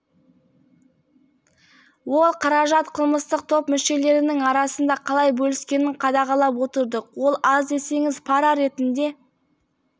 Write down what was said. ол қаражат қылмыстық топ мүшелерінің арасында қалай бөліскенін қадағалап отырдық ол аз десеңіз пара ретінде